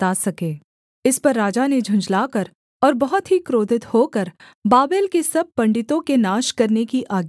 इस पर राजा ने झुँझलाकर और बहुत ही क्रोधित होकर बाबेल के सब पंडितों के नाश करने की आज्ञा दे दी